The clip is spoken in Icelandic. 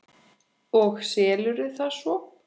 Og selurðu það svo?